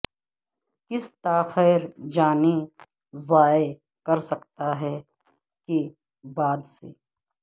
کسی تاخیر جانیں ضائع کر سکتا ہے کے بعد سے